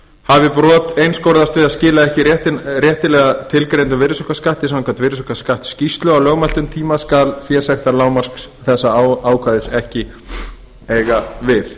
hafi brot einskorðast við að skila ekki réttilega tilgreindum virðisaukaskatti samkvæmt virðisaukaskattsskýrslu á lögmæltum tíma skal fésektarlágmark þessa ákvæðis ekki eiga við